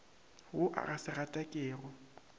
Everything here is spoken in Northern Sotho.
wo o ka se gatakego